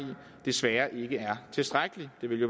desværre ikke er tilstrækkelig det ville